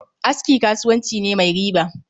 Aski kasuwanci ne mai riba